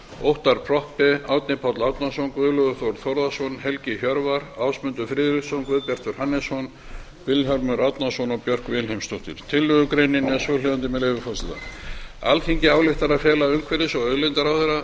óttarr proppé árni páll árnason guðlaugur þór þórðarson helgi hjörvar ásmundur friðriksson guðbjartur hannesson vilhjálmur árnason og björk vilhelmsdóttir tillögugreinin er svohljóðandi með leyfi forseta alþingi ályktar að fela umhverfis og auðlindaráðherra að